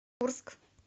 курск